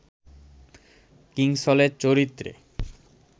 কিংসলের চরিত্রে